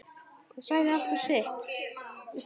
Það sagði alltaf sitt.